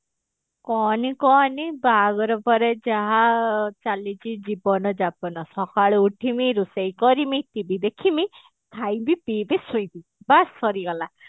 କହନି କହନି ବାହାଘର ପରେ ଯାହା ଚାଲିଛି ଜୀବନ ଯାପନ ସକାଳୁ ଉଠିମି ରୋଷେଇ କରିମି TV ଦେଖିମୀ ଖାଇବି ପିଇଁବି ଶୋଇବି ବାସ ସରିଗଲା